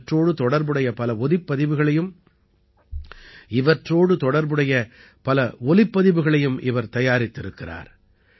இவற்றோடு தொடர்புடைய பல ஒலிப்பதிவுகளையும் இவர் தயாரித்திருக்கிறார்